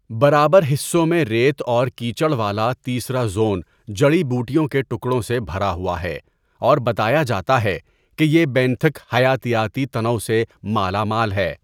برابر حصوں میں ریت اور کیچڑ والا تیسرا زون جڑی بوٹیوں کے ٹکڑوں سے بھرا ہوا ہے اور بتایا جاتا ہے کہ یہ بینتھک حیاتیاتی تنوع سے مالا مال ہے۔